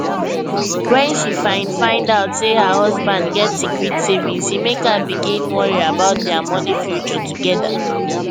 when she find find out say her husband get secret savings e make her begin worry about their money future together